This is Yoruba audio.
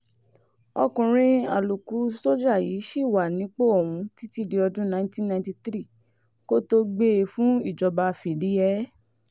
ọkùnrin àlòkù sójà yìí ṣì wà nípò ọ̀hún títí di ọdún nineteen ninety three kó tóó gbé e fún ìjọba fìdí-hẹ̀ẹ́